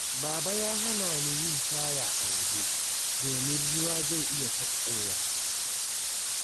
Baba ya hana ni yin shaya a waje, domin ruwa zai iya sakkowa.